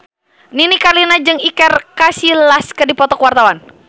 Nini Carlina jeung Iker Casillas keur dipoto ku wartawan